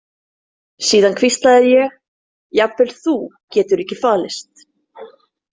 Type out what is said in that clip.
Síðan hvíslaði ég: Jafnvel þú getur ekki falist.